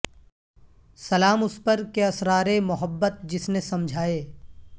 سلام اس پر کہ اسرار محبت جس نے سمجھائے